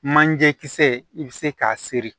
Manje kisɛ i bɛ se k'a seri